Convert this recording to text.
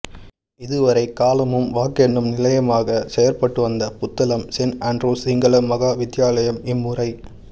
இதுவரை காலமும் வாக்கெண்ணும் நிலையமாகச் செயற்பட்டு வந்த புத்தளம் சென் அன்றூஸ் சிங்கள மகா வித்தியாலயம் இம்முறை